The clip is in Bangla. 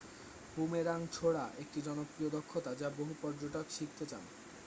বুমেরাং ছোড়া একটি জনপ্রিয় দক্ষতা যা বহু পর্যটক শিখতে চান